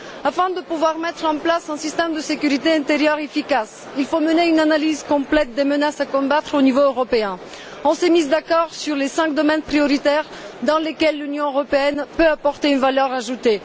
Afin de pouvoir mettre en place un système de sécurité intérieure efficace, il faut mener une analyse complète des menaces à combattre au niveau européen. On s'est mis d'accord sur les cinq domaines prioritaires dans lesquels l'Union européenne peut apporter une valeur ajoutée.